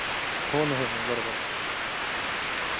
हो ना हो ना बरोबर